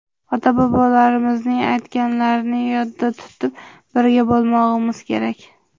Ota-bobolarimizning aytganlarini yodda tutib, birga bo‘lmog‘imiz kerak.